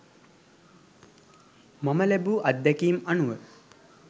මම ලැබූ අත්දැකීම් අනුව